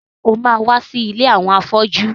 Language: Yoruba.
Ṣé o ma wá sí ilé àwọn afọ́jú?